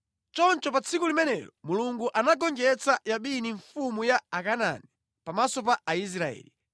“Choncho pa tsiku limenelo Mulungu anagonjetsa Yabini mfumu ya Akanaani, pamaso pa Aisraeli.